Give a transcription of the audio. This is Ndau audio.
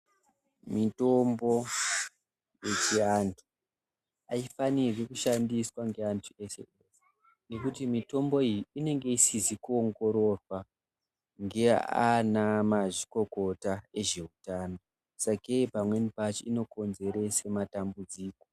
Mitombo yechiantu aifanirwi kushandiswa ngeantu pese, pese ngekuti mitombo iyi inenge isizi kuongororwa ngeanamazvikokota vezveutano sakei pamweni pacho inokonzera matambudziko.